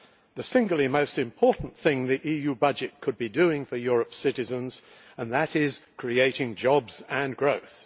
the single most important thing the EU budget could be doing for Europe's citizens, and that is creating jobs and growth.